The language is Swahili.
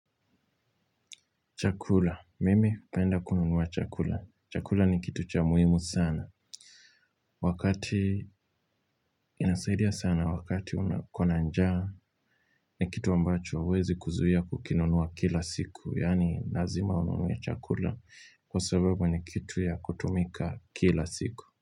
Chakula. Mimi penda kununuwa chakula. Chakula ni kitu cha muhimu sana. Wakati inasaidia sana wakati unakuwa na njaa ni kitu ambacho uwezi kuzuia kukinunua kila siku. Yani lazima ununuwe chakula kwa sababu ni kitu ya kutumika kila siku.